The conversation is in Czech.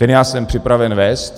Ten já jsem připraven vést.